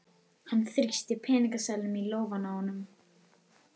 Hún þrýsti peningaseðlum í lófann á honum.